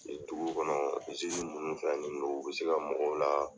Yen dugu kɔnɔ, minnu fɛn nin don, u bɛ se ka mɔgɔw la